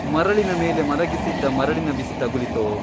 ಮರಳಿನ ಮೇಲೆ ಮಲಗಿಸಿದ್ದ ಮರಳಿನ ಬಿಸಿ ತಗುಲಿತೋ ?